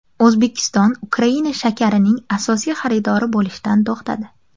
O‘zbekiston Ukraina shakarining asosiy xaridori bo‘lishdan to‘xtadi.